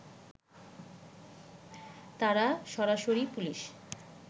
তারা সরাসরি পুলিশ